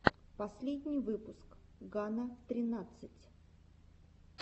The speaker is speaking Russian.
последний выпуск гана тринадцать